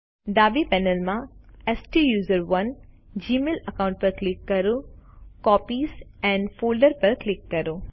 ડાબી પેનલ માં સ્ટુસરોને જીમેઈલ અકાઉન્ટ પર ક્લિક કરો કોપીઝ એન્ડ ફોલ્ડર્સ પર ક્લિક કરો